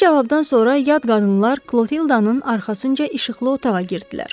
Bu cavabdan sonra yad qadınlar Klotildanın arxasınca işıqlı otağa girdilər.